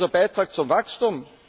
Ist das unser Beitrag zum Wachstum?